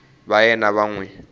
va yena va n wi